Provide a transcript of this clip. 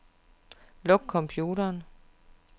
Luk computeren.